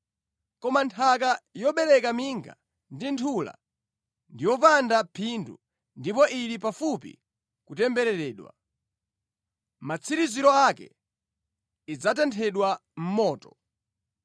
Koma nthaka yobereka minga ndi nthula ndi yopanda phindu ndipo ili pafupi kutembereredwa. Matsiriziro ake idzatenthedwa mʼmoto.